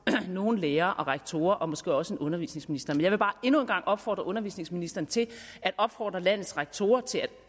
end nogle lærere og rektorer og måske også end undervisningsministeren jeg vil bare endnu en gang opfordre undervisningsministeren til at opfordre landets rektorer til at